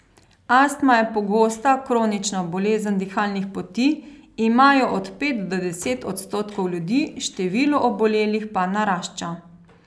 Astma je pogosta kronična bolezen dihalnih poti, ima jo od pet do deset odstotkov ljudi, število obolelih pa narašča.